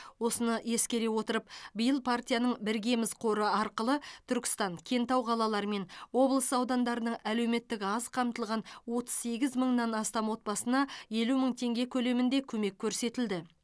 осыны ескере отырып биыл партияның біргеміз қоры арқылы түркістан кентау қалалары мен облыс аудандарының әлеуметтік аз қамтылған отыз сегіз мыңнан астам отбасына елу мың теңге көлемінде көмек көрсетілді